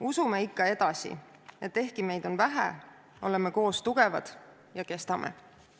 Usume ikka edasi, et ehkki meid on vähe, oleme koos tugevad ja kestame.